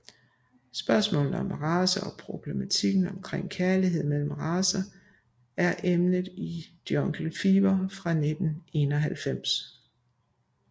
Spørgsmålet om race og problematikken omkring kærlighed mellem racer er emnet i Jungle Fever fra 1991